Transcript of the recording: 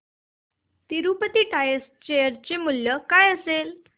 Tirupati tyres share चे मूल्य काय असेल